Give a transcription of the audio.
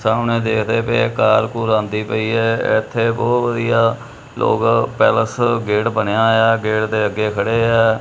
ਸਾਹਮਣੇ ਦੇਖਦੇ ਪਏ ਆ ਕਾਰ ਕੂਰ ਆਉਂਦੀ ਪਈ ਐ ਇੱਥੇ ਬਹੁਤ ਵਧੀਆ ਲੋਕ ਪੈਲਸ ਗੇਟ ਬਣਿਆ ਹੋਇਆ ਐ ਗੇਟ ਦੇ ਅੱਗੇ ਖੜੇ ਐ।